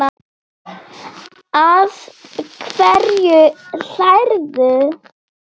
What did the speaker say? Að hverju hlærðu?